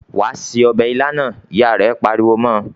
"Wà á se ọbẹ̀ ilá náà!" Ìyá rẹ̀ pariwo mọ́ ọ.